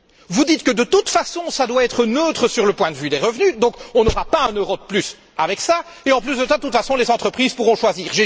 vous dites que, de toute façon, ça doit être neutre du point de vue des revenus, donc on n'aura pas un euro de plus avec ça et, en plus, de toute façon, les entreprises pourront choisir.